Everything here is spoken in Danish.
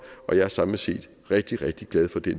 og jeg er samlet set rigtig rigtig glad for det